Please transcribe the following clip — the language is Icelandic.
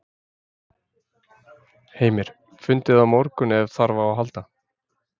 Heimir: Fundið á morgun ef þarf á að halda?